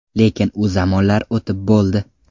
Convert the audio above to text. Lekin u zamonlar o‘tib bo‘ldi.